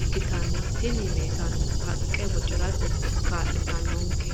ikkitanna, tini meesaneno haqqe bocirate kaa'litannonke.